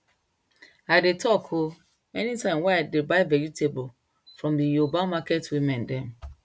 i dey talk o anytime wey i de buy vegetable from the yoruba market women dem